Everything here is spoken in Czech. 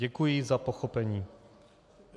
Děkuji za pochopení.